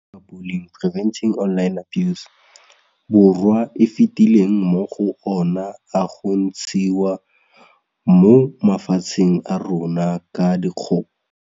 Borwa a fetileng mo go ona a go ntshiwa mo mafatsheng a rona ka dikgoka.